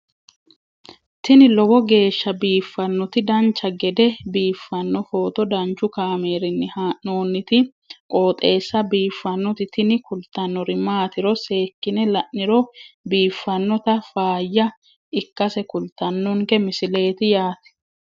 tini lowo geeshsha biiffannoti dancha gede biiffanno footo danchu kaameerinni haa'noonniti qooxeessa biiffannoti tini kultannori maatiro seekkine la'niro biiffannota faayya ikkase kultannoke misileeti yaate